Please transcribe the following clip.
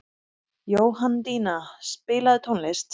Jóhanndína, spilaðu tónlist.